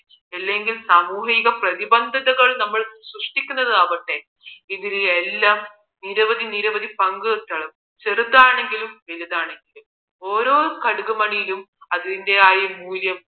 ഇല്ലെങ്കിൽ സാമൂഹിക പ്രതിബന്ധത നമ്മൾ സൃഷ്ടിക്കുന്നതാവട്ടെ ഇതില് എല്ലാം നിരവധി പങ്ക് ചെറുതാണെങ്കിലും വലുതാണെങ്കിലും ഓരോ കടുകൂമണിയിലും അതിന്റെ ഒരു മൂല്യം